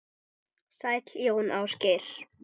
Sæll Jón Ásgeir!